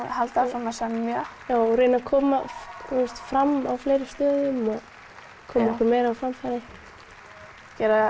halda áfram að semja já og koma fram á fleiri stöðum og koma okkur á framfæri gera